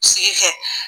Sigi kɛ